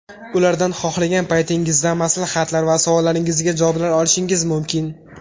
Ulardan xohlagan paytingizda maslahatlar va savollaringizga javoblar olishingiz mumkin.